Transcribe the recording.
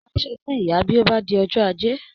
Rà asọ fún ìyà bí ó bá di ọjọ́ ajé!